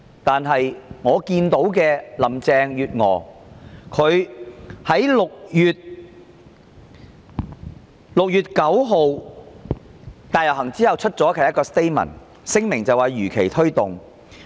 但是，林鄭月娥在6月9日大遊行後發出的聲明中，表示會如期推動修例。